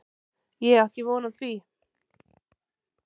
Ég á ekki von á því